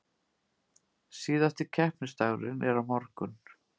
Síðasti keppnisdagurinn er á morgun